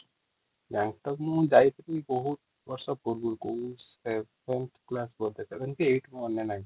bank out ମୁ ଯାଇଥିଲି ବହୁତ ବର୍ଷ ପୂବରୁ |